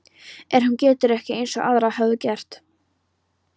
En hún getur ekki- eins og aðrar höfðu gert